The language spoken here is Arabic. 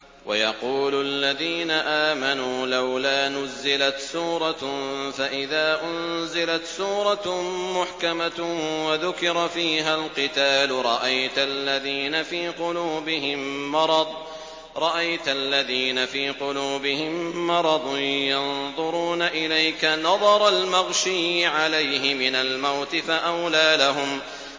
وَيَقُولُ الَّذِينَ آمَنُوا لَوْلَا نُزِّلَتْ سُورَةٌ ۖ فَإِذَا أُنزِلَتْ سُورَةٌ مُّحْكَمَةٌ وَذُكِرَ فِيهَا الْقِتَالُ ۙ رَأَيْتَ الَّذِينَ فِي قُلُوبِهِم مَّرَضٌ يَنظُرُونَ إِلَيْكَ نَظَرَ الْمَغْشِيِّ عَلَيْهِ مِنَ الْمَوْتِ ۖ فَأَوْلَىٰ لَهُمْ